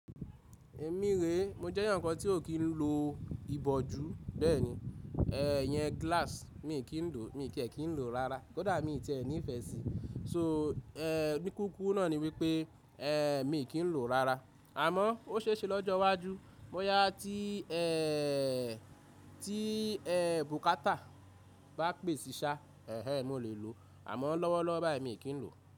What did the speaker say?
Èmi rè, mo jẹ́ ẹyankan tí ò kí ń lo ìbòjú bẹ́ẹ̀ni. Iyen glass mi kí ń lò mi tie kin lo rárá, kódà mi tí ẹ ní ìfẹ́ sí. So, ẹ́ bí kúkú náà ni wípé ẹ mi kì í lò rárá. Àmọ́ ó ṣeéṣe lọ́jọ́ iwájú bóyá tí ẹ́ tí ẹ́ bùkátà bá pèsè ṣá, ẹ́ẹ́ mo lè lò, àmọ́ lọ́wọ́lọ́wọ́ báyìí mi kì í lò.